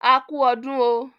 A kú ọdún oooo